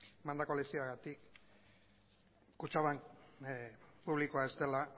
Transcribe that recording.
emandako lezioagatik kutxabank publikoa ez dela